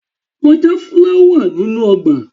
Lọ já fúláwà nínú ọgbà!